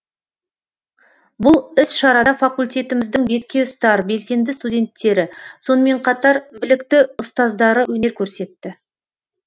бұл іс шарада факультетіміздің бетке ұстар белсенді стунденттері сонымен қатар білікті ұстаздары өнер көрсетті